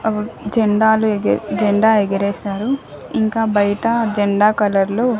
ఆహ్ జెండాలు ఎగర జెండా ఎగరేసారు ఇంకా బయట జెండా కలర్ లో.